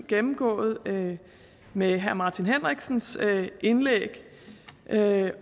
gennemgået med herre martin henriksens indlæg det